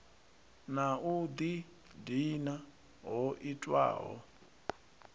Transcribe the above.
na u ḓidina ho itiwaho